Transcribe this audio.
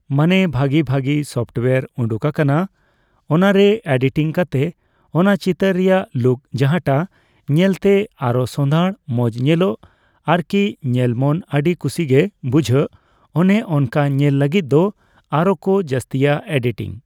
ᱢᱟᱱᱮ ᱵᱷᱟᱹᱜᱤ ᱵᱷᱟᱹᱜᱤ ᱥᱚᱯᱴᱭᱟᱨ ᱩᱰᱩᱜ ᱟᱠᱟᱱᱟ ᱚᱱᱟᱨᱮ ᱮᱰᱤᱴᱤᱝ ᱠᱟᱛᱮᱫ ᱚᱱᱟ ᱪᱤᱛᱟᱹᱨ ᱨᱮᱭᱟᱜ ᱞᱩᱠ ᱡᱟᱦᱟᱸᱴᱟᱜ ᱧᱮᱞᱛᱮ ᱟᱨᱚ ᱥᱚᱸᱫᱷᱟᱲ ᱢᱚᱸᱡᱽ ᱧᱮᱞᱚᱜ ᱟᱨᱠᱤ ᱧᱮᱞ ᱢᱚᱱ ᱟᱹᱰᱤ ᱠᱷᱩᱥᱤᱜᱮ ᱵᱩᱡᱷᱟᱹᱜ ᱚᱱᱮᱚᱱᱠᱟ ᱧᱮᱞ ᱞᱟᱹᱜᱤᱫ ᱫᱚ ᱟᱨᱚᱠᱚ ᱡᱟᱹᱥᱛᱤᱭᱟ ᱮᱰᱤᱴᱤᱝ ᱾